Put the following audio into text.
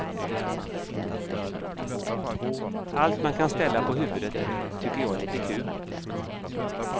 Allt man kan ställa på huvudet tycker jag är lite kul.